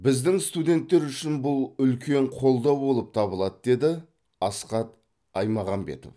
біздің студенттер үшін бұл үлкен қолдау болып табылады деді асхат аймағамбетов